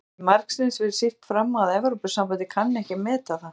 Hefur það ekki margsinnis verið sýnt fram á að Evrópusambandið kann ekki að meta það?